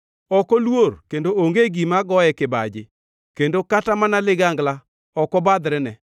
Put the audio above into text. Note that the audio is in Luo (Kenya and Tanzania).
Ok oluor kendo onge gima goye kibaji, kendo kata mana ligangla ok obadhrene.